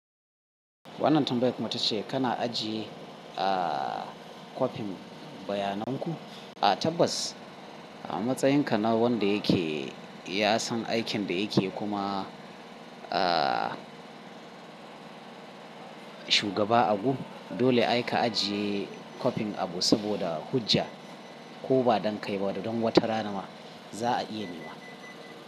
Wannan tambayar kuma tace kana ajiye, ah, kopin bayanan ku? A tabas a matsayinka na wanda yake ya san aikin da yake kuma, ah, shugaba abu. Dole ai ka ajiye kopin abu saboda hujja ko ba don kaiba don wata rana ma za a iya niwa.